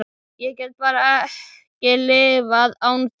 Ég get bara ekki lifað án þín.